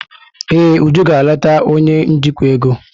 Ee, Uju gara leta onye njikwa ego.